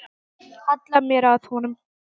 Halla mér að honum.